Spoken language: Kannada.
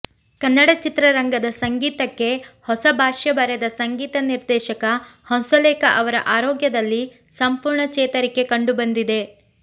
ಕನ್ನಡ ಚಿತ್ರರಂಗದ ಸಂಗೀತಕ್ಕೆ ಹೊಸ ಭಾಷ್ಯ ಬರೆದ ಸಂಗೀತ ನಿರ್ದೇಶಕ ಹಂಸಲೇಖ ಅವರ ಆರೋಗ್ಯದಲ್ಲಿ ಸಂಪೂರ್ಣ ಚೇತರಿಕೆ ಕಂಡುಬಂದಿದೆ